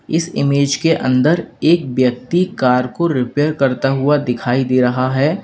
इस इमेज के अंदर एक व्यक्ति कार को रिपेयर करता हुआ दिखाई दे रहा है।